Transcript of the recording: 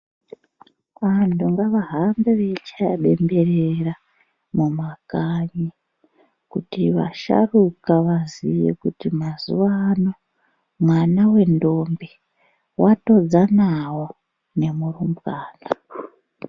Vantu ngavahambe veichaya bembera munakanyi kuti vasharuka vaziye kuti mazuwaano mwana wentombi watodzanawo nemurumbwana.